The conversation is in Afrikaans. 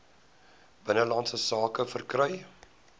binnelandse sake verkry